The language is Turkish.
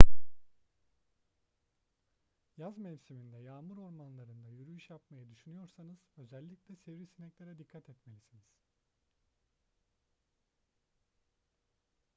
yaz mevsiminde yağmur ormanlarında yürüyüş yapmayı düşünüyorsanız özellikle sivrisineklere dikkat etmelisiniz